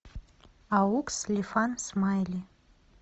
аукс лифан смайли